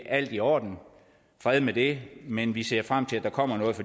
alt i orden fred med det men vi ser frem til at der kommer noget